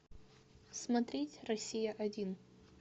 смотреть россия один